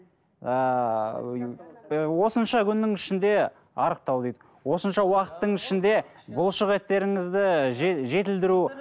ыыы осынша күннің ішінде арықтау дейді осынша уақыттың ішінде бұлшық еттеріңізді жетілдіру